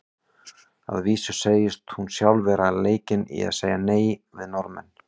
Að vísu segist hún sjálf vera leikin í að segja nei við Norðmenn.